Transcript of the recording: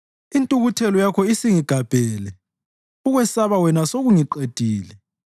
Intukuthelo yakho isingigabhele; ukwesaba wena sekungiqedile.